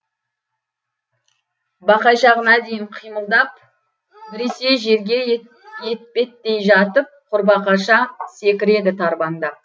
бақайшағына дейін қимылдап біресе жерге етпеттей жатып құрбақаша секіреді тарбаңдап